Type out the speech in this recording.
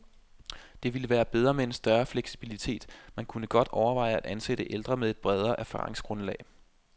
Det ville være bedre med en større fleksibilitet, man kunne godt overveje at ansætte ældre med et bredere erfaringsgrundlag.